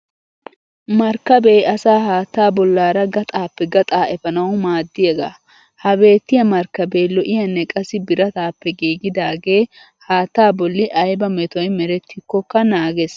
Markkabee asaa haattaa bollaara gaxaappe gaxaa efanawu maaddiyaagaa. Ha beettiya markkabee lo'iyaanne qassi birataappe giigidaagee haatta bolli ayba metoy merettikkokka naages.